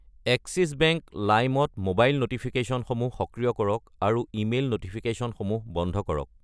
Axis bank Lime ত mobile ন'টিফিকেশ্যনসমূহ সক্ৰিয় কৰক আৰু ইমেইল ন'টিফিকেশ্যনসমূহ বন্ধ কৰক।